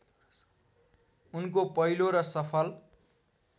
उनको पहिलो र सफल